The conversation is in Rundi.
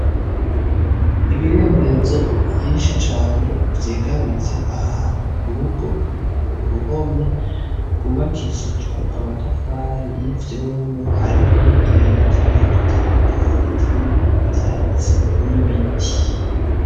Ibirembezo vyinshi cane vyegamitse ahantu ku rugo ku ruhome rwubakishijwe amatafari y’ivyondo hariho n’utuyira tugiye dutandukanye turimwo ivyatsi n’ibiti.